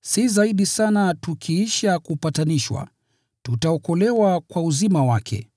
si zaidi sana tukiisha kupatanishwa, tutaokolewa kwa uzima wake.